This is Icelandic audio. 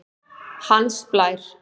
Hans Blær